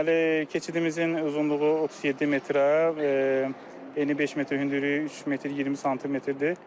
Deməli, keçidimizin uzunluğu 37 metrə, eni 5 metr, hündürlüyü 3 metr 20 smdir.